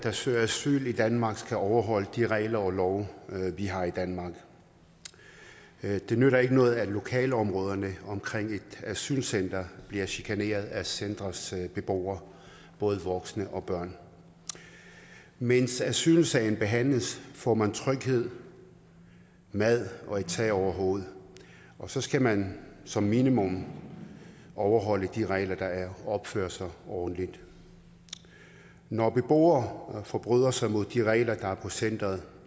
der søger asyl i danmark skal overholde de regler og love vi har i danmark det nytter ikke noget at lokalområderne omkring et asylcenter bliver chikaneret af centerets beboere både voksne og børn mens asylsagen behandles får man tryghed mad og et tag over hovedet og så skal man som minimum overholde de regler der er og opføre sig ordentligt når beboere forbryder sig mod de regler der er på centeret